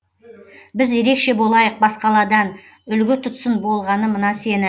біз ерекше болайық басқаладан үлгі тұтсын болғаны мына сені